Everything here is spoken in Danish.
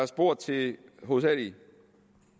spurgt til hovedsagelig